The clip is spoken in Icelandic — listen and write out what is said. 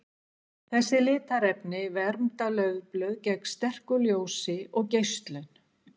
Þessi litarefni vernda laufblöð gegn sterku ljósi og geislun.